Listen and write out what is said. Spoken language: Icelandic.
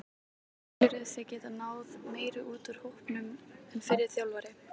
Telurðu þig geta náð meiru út úr hópnum en fyrri þjálfari?